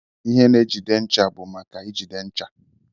Ihe na ejide ncha bu maka ijide ncha..